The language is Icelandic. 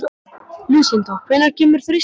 Lúsinda, hvenær kemur þristurinn?